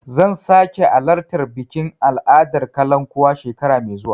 Zan sake alartar bikin al'adar kalankuwa shekara mai zuwa.